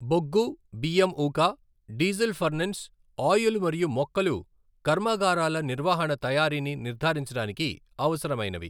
బొగ్గు, బియ్యం ఊక, డీజిల్ ఫర్నెన్స్ ఆయిల్ మరియు మొక్కలు కర్మాగారాల నిర్వహణ తయారీని నిర్ధారించడానికి అవసరమైనవి.